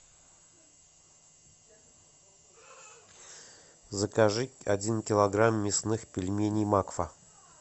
закажи один килограмм мясных пельменей макфа